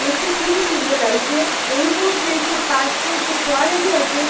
দেখতে খুবই সুন্দর লাগছে এই মুহূর্তে সে পার্ক -এ যে ফোয়ারাটি আছে।